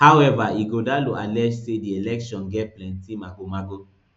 however ighodalo allege say di election get plenty magomago